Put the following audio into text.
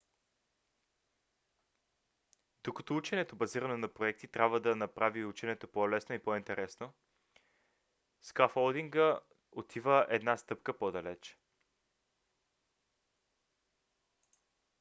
докато ученето базирано на проекти трябва да направи ученето по-лесно и по-интересно скаффолдинга отива една стъпка по-далеч